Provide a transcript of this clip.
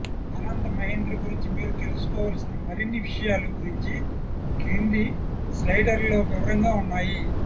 ఆనంద్ మహీంద్ర గురించి మీరు తెలుసుకోవాల్సిన మరిన్ని విషయాలు గురించి క్రింది స్లైడర్లో వివరంగా ఉన్నాయి